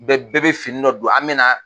Bɛɛ bɛɛ bɛ fini dɔ don an bɛ na